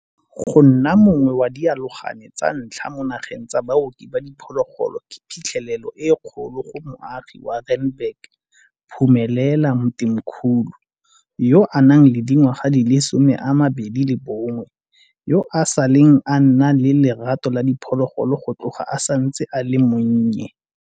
Go nna mongwe wa dialogane tsa ntlha mo nageng tsa baoki ba diphologolo ke phitlhelelo e kgolo go moagi wa Randburg, Phumelela Mthimkhulu, yo a nang le dingwaga di le 21, yo a saleng a nna le lerato la diphologolo go tloga a santse a le monnye.